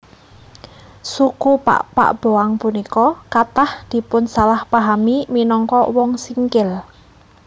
Suku Pakpak Boang punika kathah dipunsalahpahami minangka Wong Singkil